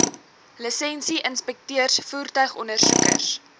lisensie inspekteurs voertuigondersoekers